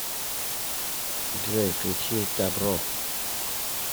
джой включи дабро